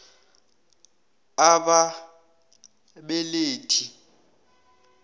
a b ababelethi